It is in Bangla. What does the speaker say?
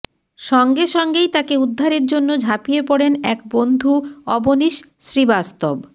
সঙ্গে সঙ্গেই তাঁকে উদ্ধারের জন্য ঝাঁপিয়ে পড়েন এক বন্ধু অবনীশ শ্রীবাস্তব